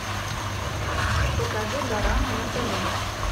покажи дорама на тв